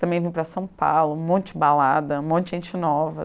Também vim para São Paulo, um monte de balada, um monte de gente nova.